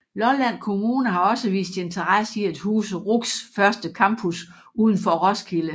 Lolland Kommune har også vist interesse i at huse RUCs første campus udenfor Roskilde